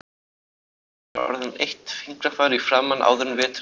Þú verður orðin eitt fingrafar í framan áður en veturinn er liðinn